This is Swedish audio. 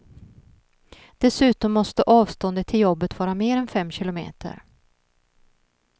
Dessutom måste avståndet till jobbet vara mer än fem kilometer.